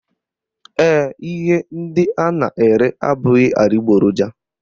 Ee, ihe ndị ha na-ere abụghị adịgboroja